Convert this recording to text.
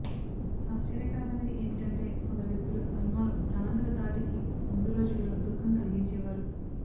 ఆశ్చర్యకరమైనది ఏమిటంటే కొందరు వ్యక్తులు అల్మోలో ప్రాణాంతక దాడికి ముందు రోజుల్లో దుఃఖం కలిగించేవారు